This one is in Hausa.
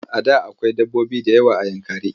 A da akwai dabbobi da yawa a Yankari.